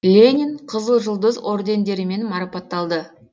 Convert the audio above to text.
ленин қызыл жұлдыз ордендерімен марапатталды